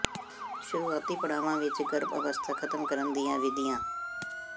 ਸ਼ੁਰੂਆਤੀ ਪੜਾਵਾਂ ਵਿਚ ਗਰਭ ਅਵਸਥਾ ਖਤਮ ਕਰਨ ਦੀਆਂ ਵਿਧੀਆਂ